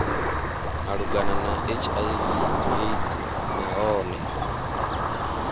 malugana na hiv aids nahone